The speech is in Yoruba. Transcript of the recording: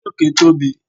orí òkè Tobi